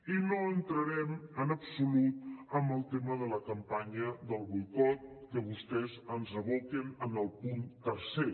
i no entrarem en absolut en el tema de la campanya del boicot que vostès ens aboquen en el punt tercer